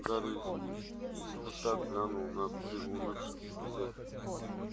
гарри искоса глянул на приунывших друзей